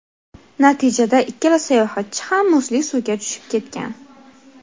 Natijada ikkala sayohatchi ham muzli suvga tushib ketgan.